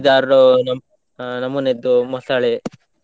ಐದಾರು ನಮ್, ಆ ನಮೂನಿಯದ್ದು ಮೊಸಳೆ.